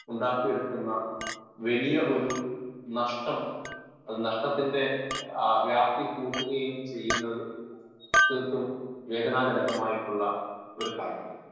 Speaker 1 ഉണ്ടാക്കിയെടുക്കുന്ന വലിയ ഒരു നഷ്ടം നഷ്ട്ടത്തിൻ്റെ വ്യാപ്തി കൂട്ടുകയും ചെയ്യുന്നത് തീർത്തും വേദനാജനകമായിട്ടുള്ള ഒരു കാര്യമാണ്.